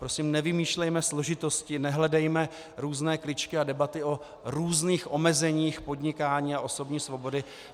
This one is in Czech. Prosím, nevymýšlejme složitosti, nehledejme různé kličky a debaty o různých omezeních podnikání a osobní svobody.